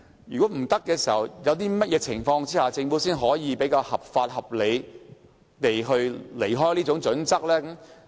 如果無法依從，在甚麼情況下，政府才可以比較合法、合理地偏離《規劃標準》？